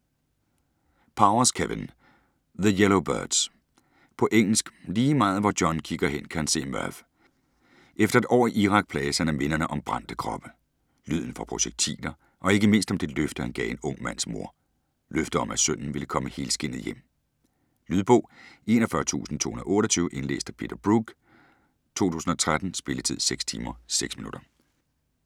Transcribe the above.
Powers, Kevin: The yellow birds På engelsk. Lige meget hvor John kigger hen kan han se Murph. Efter et år i Irak plages han af minderne om brændte kroppe, lyden fra projektiler og ikke mindst om det løfte, han gav en ung mands mor. Løftet om at sønnen ville komme helskindet hjem .. Lydbog 41228 Indlæst af Peter Brooke, 2013. Spilletid: 6 timer, 6 minutter.